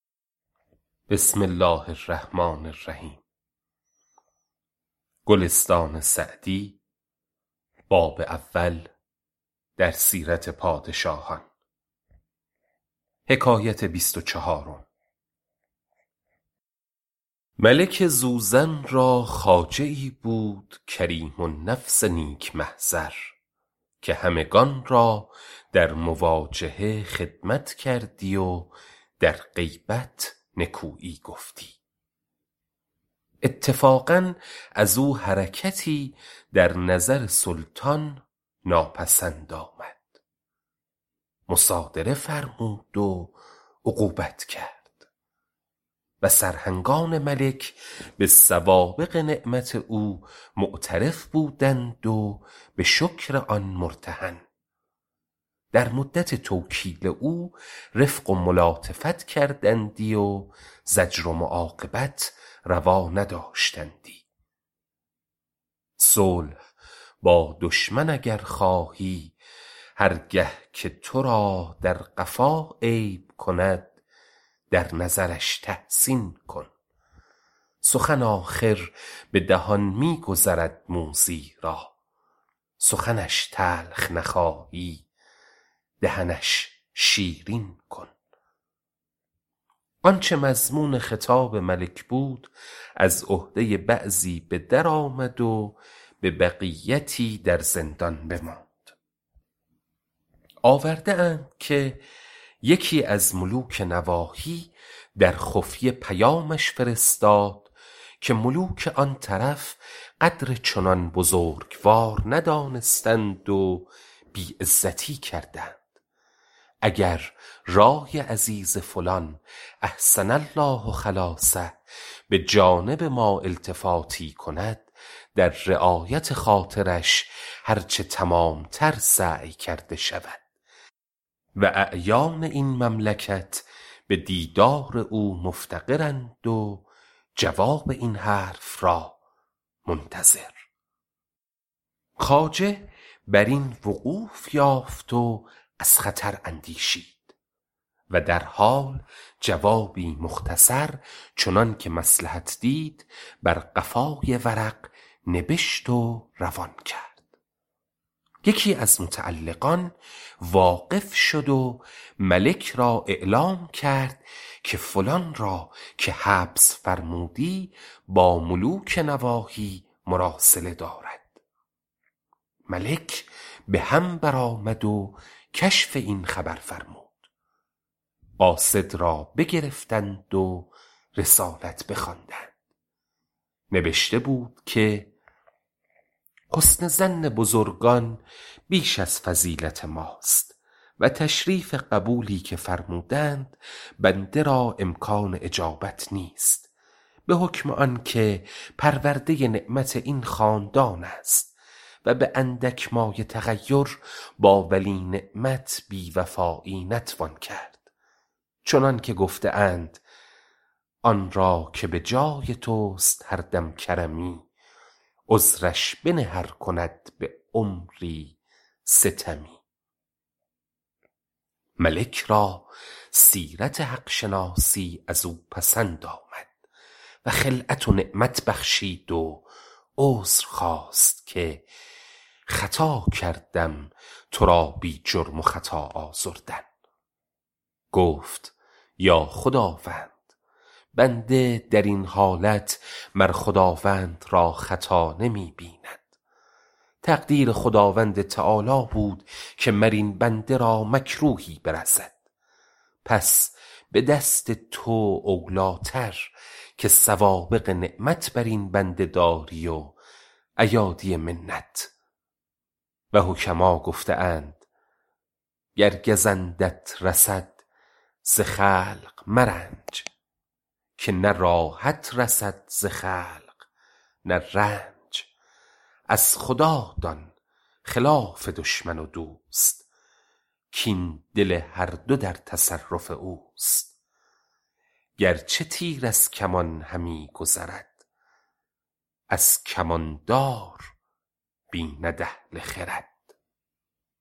ملک زوزن را خواجه ای بود کریم النفس نیک محضر که همگنان را در مواجهه خدمت کردی و در غیبت نکویی گفتی اتفاقا از او حرکتی در نظر سلطان ناپسند آمد مصادره فرمود و عقوبت کرد و سرهنگان ملک به سوابق نعمت او معترف بودند و به شکر آن مرتهن در مدت توکیل او رفق و ملاطفت کردندی و زجر و معاقبت روا نداشتندی صلح با دشمن اگر خواهی هر گه که تو را در قفا عیب کند در نظرش تحسین کن سخن آخر به دهان می گذرد موذی را سخنش تلخ نخواهی دهنش شیرین کن آنچه مضمون خطاب ملک بود از عهده بعضی به در آمد و به بقیتی در زندان بماند آورده اند که یکی از ملوک نواحی در خفیه پیامش فرستاد که ملوک آن طرف قدر چنان بزرگوار ندانستند و بی عزتی کردند اگر رای عزیز فلان احسن الله خلاصه به جانب ما التفاتی کند در رعایت خاطرش هر چه تمام تر سعی کرده شود و اعیان این مملکت به دیدار او مفتقرند و جواب این حرف را منتظر خواجه بر این وقوف یافت و از خطر اندیشید و در حال جوابی مختصر چنان که مصلحت دید بر قفای ورق نبشت و روان کرد یکی از متعلقان واقف شد و ملک را اعلام کرد که فلان را که حبس فرمودی با ملوک نواحی مراسله دارد ملک به هم برآمد و کشف این خبر فرمود قاصد را بگرفتند و رسالت بخواندند نبشته بود که حسن ظن بزرگان بیش از فضیلت ماست و تشریف قبولی که فرمودند بنده را امکان اجابت نیست به حکم آن که پرورده نعمت این خاندان است و به اندک مایه تغیر با ولی نعمت بی وفایی نتوان کرد چنان که گفته اند آن را که به جای توست هر دم کرمی عذرش بنه ار کند به عمری ستمی ملک را سیرت حق شناسی از او پسند آمد و خلعت و نعمت بخشید و عذر خواست که خطا کردم تو را بی جرم و خطا آزردن گفت ای خداوند بنده در این حالت مر خداوند را خطا نمی بیند تقدیر خداوند تعالیٰ بود که مر این بنده را مکروهی برسد پس به دست تو اولی ٰتر که سوابق نعمت بر این بنده داری و ایادی منت و حکما گفته اند گر گزندت رسد ز خلق مرنج که نه راحت رسد ز خلق نه رنج از خدا دان خلاف دشمن و دوست کاین دل هر دو در تصرف اوست گرچه تیر از کمان همی گذرد از کمان دار بیند اهل خرد